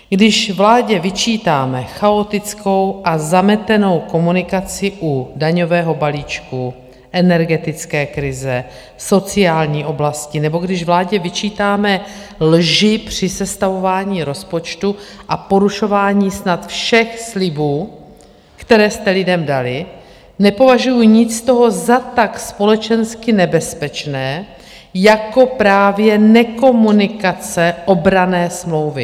Když vládě vyčítáme chaotickou a zametenou komunikaci u daňového balíčku, energetické krize, sociální oblasti nebo když vládě vyčítáme lži při sestavování rozpočtu a porušování snad všech slibů, které jste lidem dali, nepovažuju nic z toho za tak společensky nebezpečné jako právě nekomunikace obranné smlouvy.